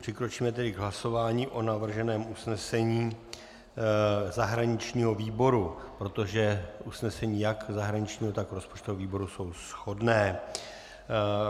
Přikročíme tedy k hlasování o navrženém usnesení zahraničního výboru, protože usnesení jak zahraničního, tak rozpočtového výboru jsou shodná.